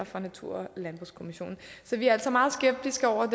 fra natur og landbrugskommissionen så vi er altså meget skeptiske over